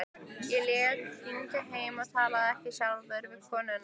Ég lét hringja heim en talaði ekki sjálfur við konuna.